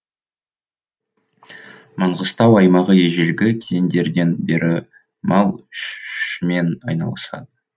маңғыстау аймағы ежелгі кезеңдерден бері мал ш мен айналысады